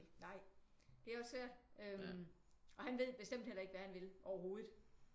Nej det er også svært øh og han ved bestemt heller ikke hvad han vil overhovedet